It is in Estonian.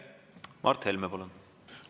Mart Helme, palun!